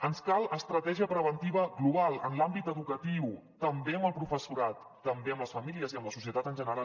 ens cal estratègia preventiva global en l’àmbit educatiu també amb el professorat també amb les famílies i amb la societat en general